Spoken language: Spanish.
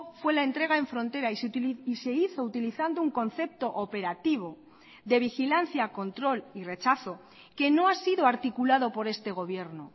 fue la entrega en frontera y se hizo utilizando un concepto operativo de vigilancia control y rechazo que no ha sido articulado por este gobierno